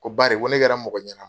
Ko bari ko ne kɛra mɔgɔ ɲɛna